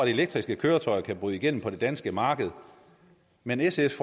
elektriske køretøjer kan bryde igennem på det danske marked men sfs